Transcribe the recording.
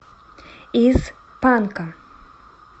из панка